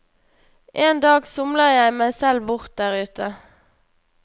En dag somler jeg meg selv bort der ute.